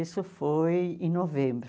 Isso foi em novembro.